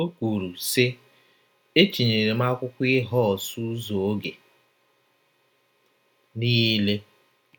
O kwuru, sị: “ Etinyere m akwụkwọ ịghọ ọsụ ụzọ oge niile.